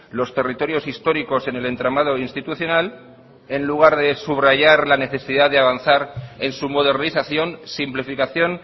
los territorios históricos en el entramado institucional en lugar de subrayar la necesidad de avanzar en su modernización simplificación